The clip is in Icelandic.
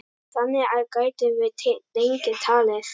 Þannig gætum við lengi talið.